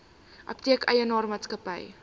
apteek eienaar maatskappy